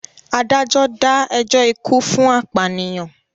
Adájọ́ dá ẹjọ́ ikú fún apànìyàn.